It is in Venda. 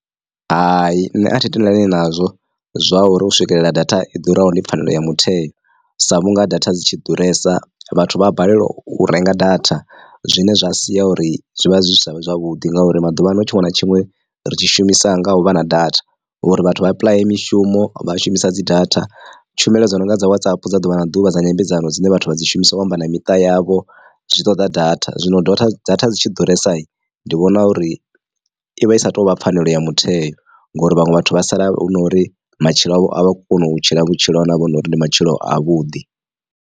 Hai nṋe athi tendelani nazwo zwa uri u swikelela data i ḓuraho ndi pfhanelo ya mutheo sa vhunga data dzi tshi ḓuresa vhathu vha a balelwa u renga data zwine zwa sia uri zwivha zwi sa vhe zwavhuḓi ngauri maḓuvha ano tshiṅwe na tshiṅwe ri tshi shumisa nga u vha na data. Uri vhathu vha apply mishumo vha shumisa dzi data tshumelo dzo nonga dza WhatsApp dza ḓuvha na ḓuvha dza nyambedzano dzine vhathu vha dzi shumisa u amba na miṱa yavho zwi ṱoḓa data zwino data dzi tshi ḓuresa ndi vhona uri ivha i sa tou vha pfhanelo ya mutheo ngori vhaṅwe vhathu vha sala hu no uri matshilo avho avha koni u tshila vhutshilo havho hunori ndi matshilo a vhuḓi.